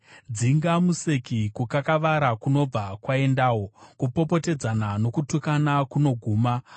Dzinga museki, kukakavara kunobva kwaendawo; kupopotedzana nokutukana kunoguma.